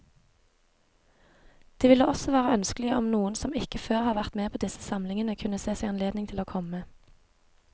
Det ville også være ønskelig om noen som ikke før har vært med på disse samlingene, kunne se seg anledning til å komme.